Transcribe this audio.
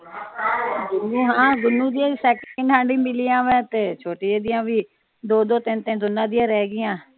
ਹਾਂ ਗੁਨੂੰ ਦੀਆ ਵੀ ਸੈਕੰਡ ਹੈਂਡ ਮਿਲੀਆਂ ਵੇ ਤੇ ਛੋਟੀ ਦੀਆ ਵੀ ਦੋ ਦੋ ਤਿੰਨ ਤਿੰਨ ਦੋਨਾਂ ਦੀਆ ਰਹਿ ਗਈਆਂ।